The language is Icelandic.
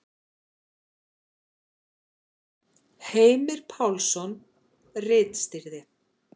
Heimir Pálsson ritstýrði.